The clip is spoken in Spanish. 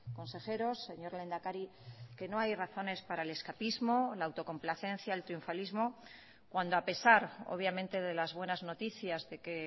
consejeros señor lehendakari que no hay razones para el escapismo la autocomplacencia el triunfalismo cuando a pesar obviamente de las buenas noticias de que